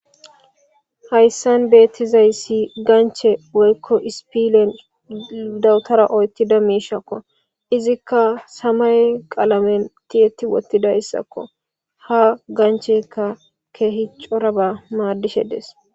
hayssan beettizay si ganche woykko ispilen dawutara oytida miishakko izikka samay qalamen ti7etti wottida ssakko ha gancheka keehicoraba maaddishe dees